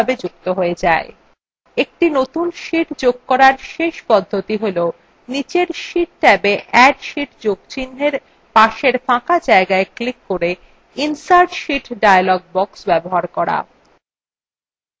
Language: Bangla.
একটি নতুন sheet যোগ করার শেষ পদ্ধতি হল নীচের sheet ট্যাবa add sheet যোগ চিন্হের পাশের ফাঁকা জায়গায় ক্লিক করে insert sheet dialog box ব্যবহার করা